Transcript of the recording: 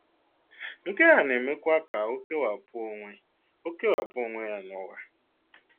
Nke a na-emekwa ka ọ kewapụ onwe ọ kewapụ onwe ya n'ụwa.